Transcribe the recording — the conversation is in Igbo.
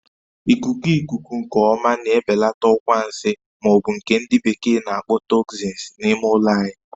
Ikuku ikuku nke ọma na-ebelata ọkwa nsi ma ọ bụ nke ndị bekee n'akpọ "toxins" n'ime ụlọ anyị